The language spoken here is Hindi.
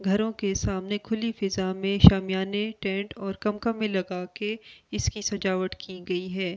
घरों के सामने खुली फिजा मे शमयने टेंट ओर कम्कम लगा के इसकी सजावट कि गई है।